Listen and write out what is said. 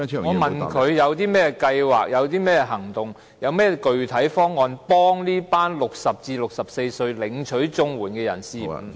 我問他有何計劃、行動及具體方案幫助這群60歲至64歲領取綜援的人士......